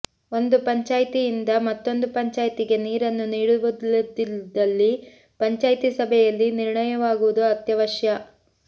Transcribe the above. ಒಂದು ಪಂಚಾಯ್ತಿಯಿಂದ ಮತ್ತೊಂದು ಪಂಚಾಯ್ತಿಗೆ ನೀರನ್ನು ನೀಡುವುದಿದ್ದಲ್ಲಿ ಪಂಚಾಯ್ತಿ ಸಭೆಯಲ್ಲಿ ನಿರ್ಣಯವಾಗುವುದು ಅತ್ಯವಶ್ಯ